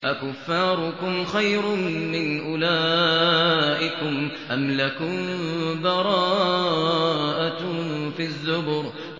أَكُفَّارُكُمْ خَيْرٌ مِّنْ أُولَٰئِكُمْ أَمْ لَكُم بَرَاءَةٌ فِي الزُّبُرِ